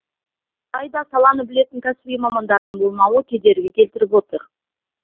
алайда саланы білетін кәсіби мамандардың болмауы кедергі келтіріп отыр